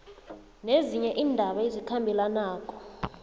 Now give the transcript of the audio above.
nezinye iindaba ezikhambelanako